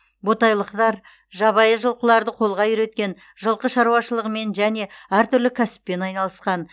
ботайлықтар жабайы жылқыларды қолға үйреткен жылқы шаруашылығымен және әртүрлі кәсіппен айналысқан